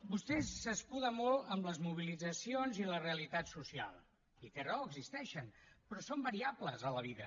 vostè s’escuda molt en les mobilitzacions i la realitat social i té raó existeixen però són variables a la vida